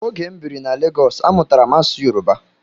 Ógè m bírí na Legọs, amụtara m asụsụ Yoruba.